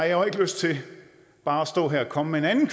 jo ikke lyst til bare at stå her og komme med en anden